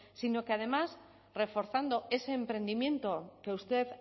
sino que además reforzando ese emprendimiento que usted